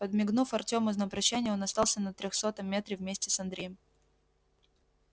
подмигнув артёму на прощание он остался на трёхсотом метре вместе с андреем